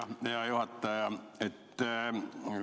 Jah, hea juhataja!